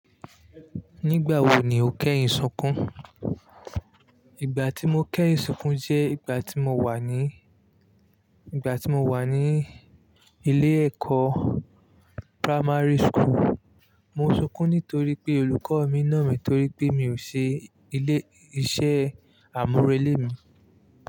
Nígbà wo ni o kẹ́yìn sunkún? Ìgbà tí mo kẹ́yìn sunkún jẹ́ ìgbà tí mo wà ní, ìgbà tí mo wà ní ilé ẹ̀kọ́ primary school. Mo sunkún nítorí pé olùkọ́ mi nà mí torí pé mi ò ṣe ilé iṣẹ́ àmúrelé mi.